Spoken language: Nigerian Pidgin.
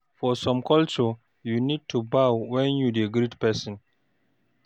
For some culture, you need to bow when you dey greet person